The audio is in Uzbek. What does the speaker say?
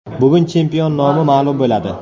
Bugun chempion nomi ma’lum bo‘ladi.